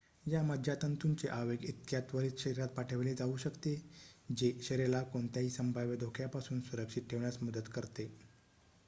या मज्जातंतूचे आवेग इतक्या त्वरीत शरीरात पाठविले जाऊ शकते जे शरीराला कोणत्याही संभाव्य धोक्यापासून सुरक्षित ठेवण्यास मदत करते